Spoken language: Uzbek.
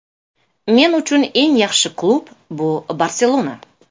Men uchun eng yaxshi klub bu ‘Barselona’.